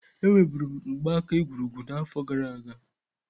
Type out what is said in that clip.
Enwe buru m mgbaaka egwurugwu na afọ gara aga.